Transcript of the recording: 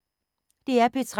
DR P3